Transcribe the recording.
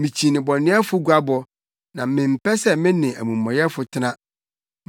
Mikyi nnebɔneyɛfo guabɔ na mempɛ sɛ me ne amumɔyɛfo tena.